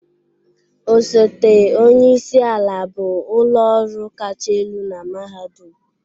Osote onye isi ala bụ ụlọ ọrụ kacha elu na mahadum